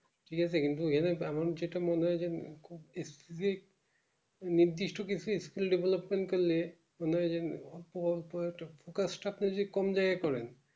ঠিক আছে কিন্তু এমন যেটা মনে হয় যে খুব নির্দিষ্ট কিছু skill development করলে মানে যে পর পর একটা focus টা কোন জায়গায় করেন